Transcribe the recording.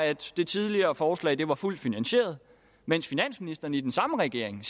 at det tidligere forslag var fuldt finansieret mens finansministeren i den samme regering